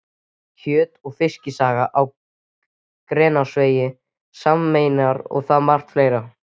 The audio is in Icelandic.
Kjöt- og Fiskisaga á Grensásvegi sameinar þetta og margt fleira.